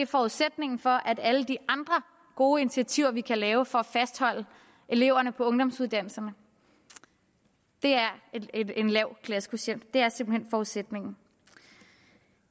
forudsætningen for at alle de andre gode initiativer vi kan lave for at fastholde eleverne på ungdomsuddannelserne er en lav klassekvotient det er simpelt hen forudsætningen